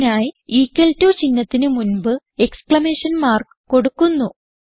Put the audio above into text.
ഇതിനായി equal to ചിഹ്നത്തിന് മുൻപ് എക്സ്ക്ലമേഷൻ മാർക്ക് കൊടുക്കുന്നു